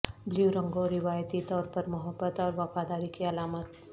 blue رنگوں روایتی طور پر محبت اور وفاداری کی علامت